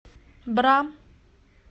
бра